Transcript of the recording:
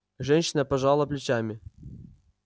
женщина пожала плечами